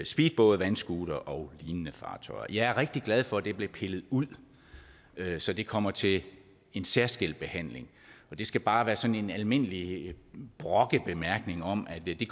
speedbåde vandscootere og lignende fartøjer jeg er rigtig glad for at det blev pillet ud så det kommer til en særskilt behandling og det skal bare være sådan en almindelig brokkende bemærkning om at vi vi